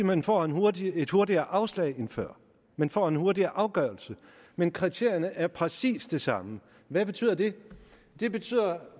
man får et hurtigere et hurtigere afslag end før man får en hurtigere afgørelse men kriterierne er præcis de samme hvad betyder det det betyder